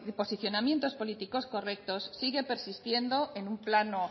posicionamientos políticos correctos sigue persistiendo en un plano